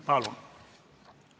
Palun!